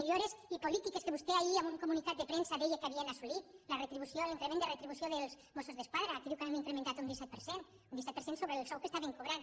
millores i polítiques que vos·tè ahir en un comunicat de premsa deia que havien asso·lit la retribució l’increment de retribució dels mossos d’esquadra que diu que han incrementat un disset per cent un disset per cent sobre el sou que estaven cobrant